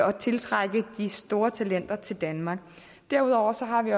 og tiltrække de store talenter til danmark derudover har vi